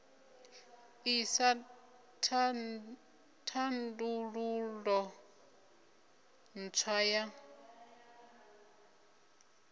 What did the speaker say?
ḓ isa thandululo ntswa ya